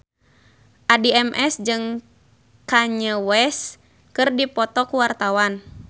Addie MS jeung Kanye West keur dipoto ku wartawan